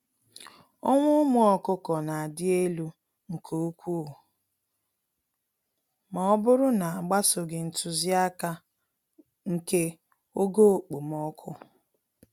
Ọnwụ ụmụ ọkụkọ nadị élú nke úkwú mọbụrụ na agbsoghi ntụziaka nke ogo okpomọkụ.